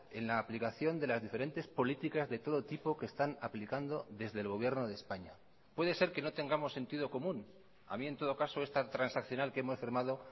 en la aplicación de las diferentes políticas de todo tipo que están aplicando desde el gobierno de españa puede ser que no tengamos sentido común a mí en todo caso esta transaccional que hemos firmado